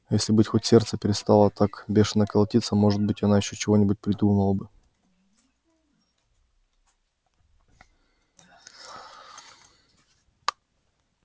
если бы хоть сердце перестало так бешено колотиться может быть она ещё чего-нибудь и придумала бы